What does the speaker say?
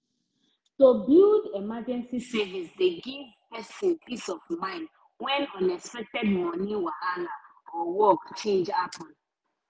to build emergency savings dey give penrson peace of mind when unexpected moni wahala or work change happen